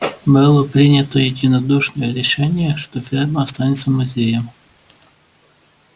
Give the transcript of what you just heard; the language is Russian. было принято единодушное решение что ферма останется музеем